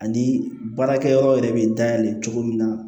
Ani baarakɛ yɔrɔ yɛrɛ bɛ dayɛlɛ cogo min na